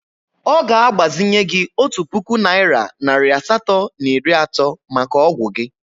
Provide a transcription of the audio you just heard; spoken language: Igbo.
Ọ ga-agbazinye gị otu puku naịra nari asatọ na iri atọ maka ọgwụ gị.